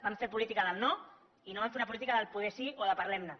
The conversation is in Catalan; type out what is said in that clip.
van fer política del no i no van fer una política del poder sí o de parlem ne